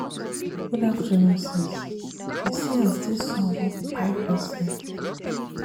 Good afternoon sis, you see as dis sun wan kpai pesin